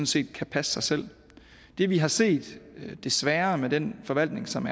set kan passe sig selv det vi har set desværre med den forvaltning som